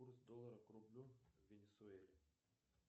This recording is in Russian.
курс доллара к рублю в венесуэле